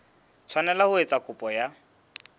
tshwanela ho etsa kopo ya